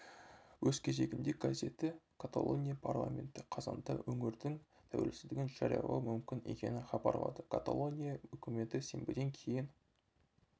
өз кезегінде газеті каталония парламенті қазанда өңірдің тәуелсіздігін жариялауы мүмкін екенін хабарлады каталония үкіметі сенбіден кейін